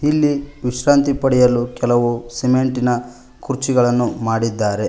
ಇಲ್ಲಿ ವಿಶ್ರಾಂತಿ ಪಡೆಯಲು ಕೆಲವು ಸಿಮೆಂಟಿನ ಕುರ್ಚಿಗಳನ್ನು ಮಾಡಿದ್ದಾರೆ.